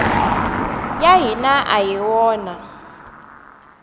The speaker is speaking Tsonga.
ya hina a hi wona